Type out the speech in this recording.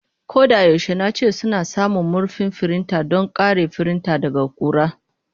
Ko da yaushe nace suna samun murfin firinta don kare firinta daga ƙura.